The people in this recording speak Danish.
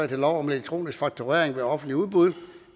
til lov om elektronisk fakturering ved offentlige udbud